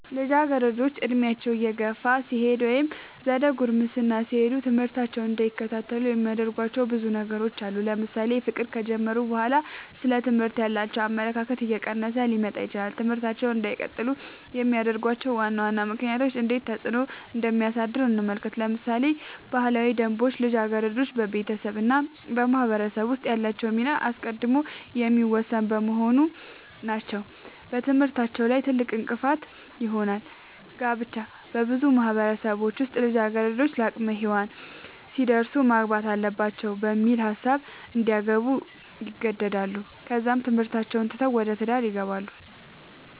ልጃገረዶች ዕድሜያቸው እየገፋ ሲሄድ ወይም ዘደ ጉርምስና ሲሄዱ ትምህርታቸውን እንዳይከታተሉ የሚያደርጉዋቸው ብዙ ነገሮች አሉ ለምሳሌ ፍቅር ከጀመሩ በኋላ ስለ ትምህርት ያላቸው አመለካከት እየቀነሰ ሊመጣ ይችላል ትምህርታቸውን እንዳይቀጥሉ የሚያደርጉዋቸው ዋና ዋና ምክንያቶች እንዴት ተፅዕኖ እንደሚያሳድሩ እንመልከት ለምሳሌ ባህላዊ ደንቦች ልጃገረዶች በቤተሰብ እና በማህበረሰብ ውስጥ ያላቸውን ሚና አስቀድመው የሚወስኑ በመሆናቸው በትምህርታቸው ላይ ትልቅእንቅፋት ይሆናል። ጋብቻ- በብዙ ማህበረሰቦች ውስጥ ልጃገረዶች ለአቅመ ሄዋን ሲደርሱ ማግባት አለባቸው በሚል ሀሳብ እንዲያገቡ ይገደዳሉ ከዛም ትምህርታቸውን ትተው ወደ ትዳር ይገባሉ።